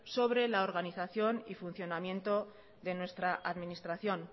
sobre la organización y funcionamiento de nuestra administración